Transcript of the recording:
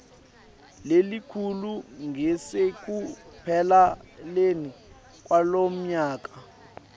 lelikhulu ngasekupheleni kwalomnyaka